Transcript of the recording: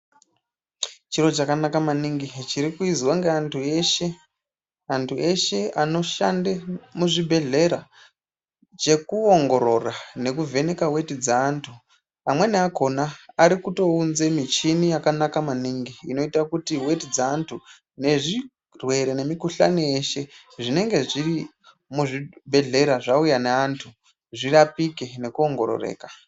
Chiro chakanka maningi chikuitwa nevanhu vanoshanda muzvibhehleya chekuongorora nekuvheka weti dzaantu vamweni akona vakatounza michini yakanaka maningi inoita kuti weti dze antu ne zvirwere nemukuhlani yese zvinenge zviri mu zvibhedhlera zvauya nevantu zvirapike neku ongororeka.